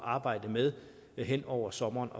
arbejde med hen over sommeren